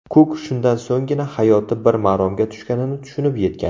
Kuk shundan so‘nggina hayoti bir maromga tushganini tushunib yetgan.